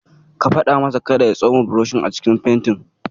Ka faɗa masa kada ya ya tsoma burushinsa a cikin fentin.